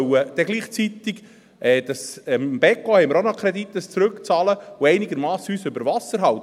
Gleichzeitig sollen wir die Kredite, die wir vom Beco haben, zurückzahlen und uns einigermassen über Wasser halten.